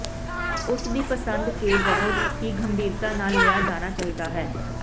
ਉਸ ਦੀ ਪਸੰਦ ਕੇ ਬਹੁਤ ਹੀ ਗੰਭੀਰਤਾ ਨਾਲ ਲਿਆ ਜਾਣਾ ਚਾਹੀਦਾ ਹੈ